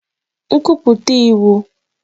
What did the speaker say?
Command Statements